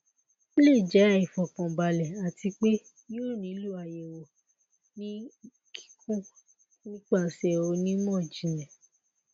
o le jẹ aifọkanbalẹ ati pe yoo nilo ayẹwo ni kikun nipasẹ onimọjinlẹ